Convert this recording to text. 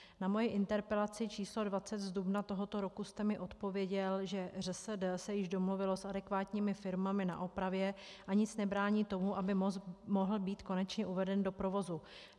Na moji interpelaci číslo 20 z dubna tohoto roku jste mi odpověděl, že ŘSD se již domluvilo s adekvátními firmami na opravě a nic nebrání tomu, aby most mohl být konečně uveden do provozu.